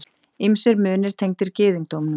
Ýmsir munir tengdir gyðingdómnum.